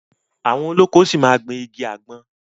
Àwọn olóko ṣi máa ma gbìn igi àgbọn.